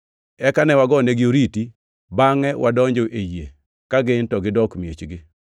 Eka ne wagoyonegi oriti, bangʼe wadonjo e yie, ka gin to gidok miechgi.